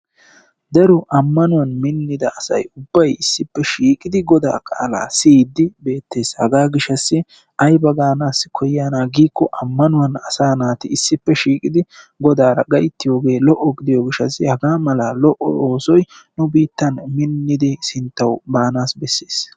daro ammanuwan minnida asay ubbay issippe shiiqidi goda qaalaa siyyiddi beettes. hagaa gishshassi ayiba gaanaas koyiyaana giiko ammanuwan asaa naati issippe shiiqidi godaara gayittiyoogee lo'o gidiyoo gishshassi hagaa mala lo'o oosoy nu biittan minnidi sittawu baanas bessees.